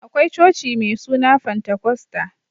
Akwai coci mai suna fantakosta